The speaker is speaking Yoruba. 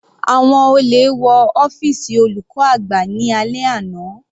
Àwọn olè wọ ọ́fìsì olùkọ́ àgbà ní alẹ́ àná.